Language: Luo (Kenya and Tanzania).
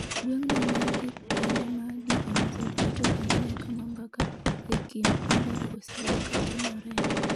gweng'no man e kuonde ma DMZ rito ahinya kama mbaka e kind pinjego osebedo ka timoree.